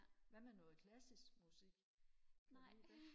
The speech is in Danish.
hvad med noget klassisk musik kan du lide det